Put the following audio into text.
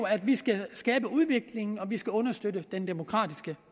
at vi skal skabe udvikling og vi skal understøtte den demokratiske